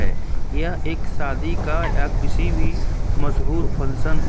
यह एक शादी का या किसी भी मशहूर फंशन है।